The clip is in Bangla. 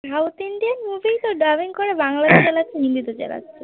south Inidan movie তো dubbing করে বাংলাতে চালাচ্ছে হিন্দিতে তে চালাচ্ছে